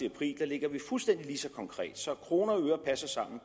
april lægger vi fuldstændig lige så konkret så kroner